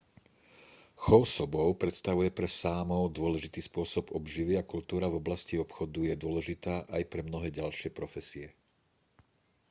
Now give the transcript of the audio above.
chov sobov predstavuje pre sámov dôležitý spôsob obživy a kultúra v oblasti obchodu je dôležitá aj pre mnohé ďalšie profesie